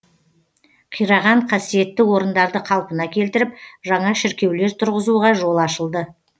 қираған қасиетті орындарды қалпына келтіріп жаңа шіркеулер тұрғызуға жол ашылды